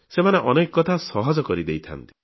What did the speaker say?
ସେମାନେ ଅନେକ କଥା ସହଜ କରିଦେଇଥାନ୍ତି